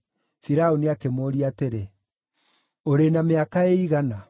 Firaũni akĩmũũria atĩrĩ, “Ũrĩ na mĩaka ĩigana?”